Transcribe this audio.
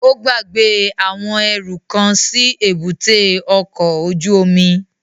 Ó gbàgbé àwọn ẹrú kan sí èbúté ọkọ̀ ojú omi